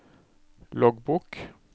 loggbok